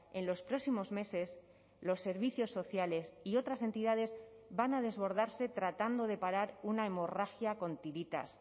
en los próximos meses los servicios sociales y otras entidades van a desbordarse tratando de parar una hemorragia con tiritas